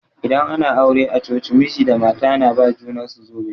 Idan ana aure a coci, miji da mata na ba ma junar su zobe.